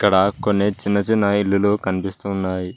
క్కడ కొన్ని చిన్న చిన్న ఇల్లులు కనిపిస్తు ఉన్నాయి.